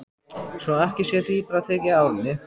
Svo ekki sé dýpra tekið í árinni.